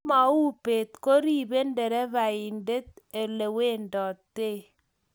Ngomauu beet koribe nderefaindet olewenditoi